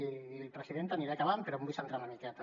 i presidenta aniré acabant però m’hi vull centrar una miqueta